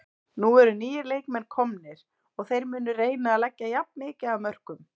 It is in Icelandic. Nú eru nýir leikmenn komnir og þeir munu reyna að leggja jafn mikið af mörkum.